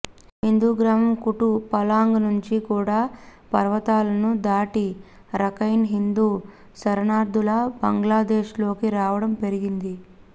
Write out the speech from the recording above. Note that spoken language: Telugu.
హిందూగ్రామం కుటు పలాంగ్ నుంచి కూడా పర్వతాలను దాటి రఖైన్ హిందూ శరణార్థులు బంగ్లాదేశ్లోకి రావడం పెరిగింది